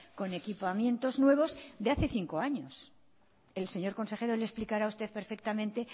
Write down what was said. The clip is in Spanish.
con equipamientos nuevos de hace cinco años el señor consejero le explicará a usted perfectamente